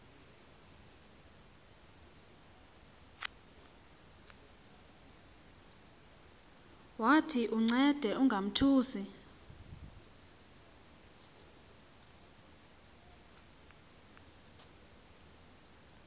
wathi uncede ungamothusi